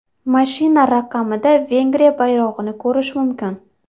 Mashina raqamida Vengriya bayrog‘ini ko‘rish mumkin.